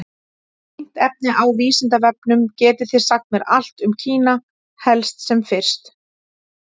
Tengt efni á Vísindavefnum: Getið þið sagt mér allt um Kína, helst sem fyrst?